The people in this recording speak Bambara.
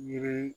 Yiri